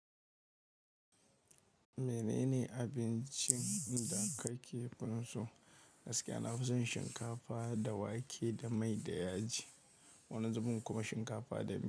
Menene abincin da kake finso? Gaskiya na fi son shinkafa da wake da mai da yaji, wani zubin kuma shinkafa da miya.